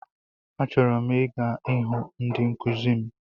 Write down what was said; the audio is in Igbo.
Achọrọ m ịga ịhụ ndị nkụzi m.